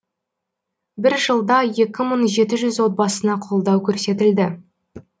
бір жылда екі мың жеті жүз отбасына қолдау көрсетілді